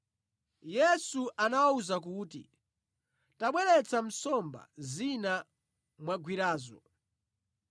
Yesu anawawuza kuti, “Tabweretsa nsomba zina mwagwirazo.”